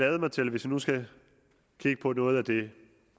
hvis vi nu skal kigge på noget af det